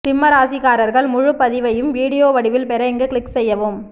சிம்ம ராசிக்காரர்கள் முழுபதிவையும் வீடியோ வடிவில் பெற இங்கு க்ளிக் செய்யவும்